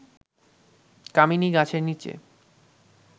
কামিনী গাছের নিচে